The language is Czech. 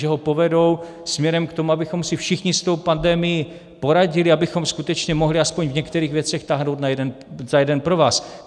že ho povedou směrem k tomu, abychom si všichni s tou pandemií poradili, abychom skutečně mohli aspoň v některých věcech táhnout za jeden provaz.